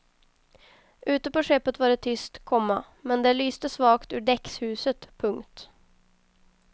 Ute på skeppet var det tyst, komma men där lyste svagt ur däckshuset. punkt